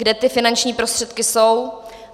Kde ty finanční prostředky jsou.